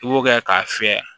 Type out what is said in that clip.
I b'o kɛ k'a fiyɛ